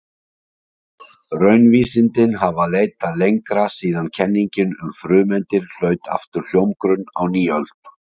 Raunvísindin hafa leitað lengra síðan kenningin um frumeindir hlaut aftur hljómgrunn á nýöld.